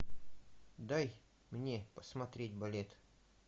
дай мне посмотреть балет